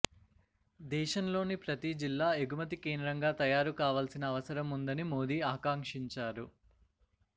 దేశంలోని ప్రతీ జిల్లా ఎగుమతి కేంద్రంగా తయారుకావాల్సిన అవసరం ఉందని మోదీ ఆకాంక్షించారు